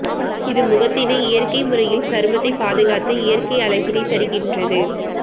இது முகத்தினை இயற்கை முறையில் சருமத்தை பாதுகாத்து இயற்கை அழகினை தருகின்றது